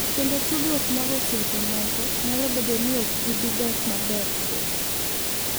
Kendo tudruok mag osiep moko nyalo bedo ni ok bi dok maber chuth.